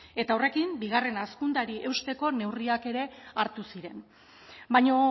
eta horrekin bigarren hazkundeari eusteko neurriak ere hartu ziren baina